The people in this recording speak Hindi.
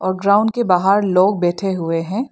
ग्राउंड के बाहर लोग बैठे हुए हैं।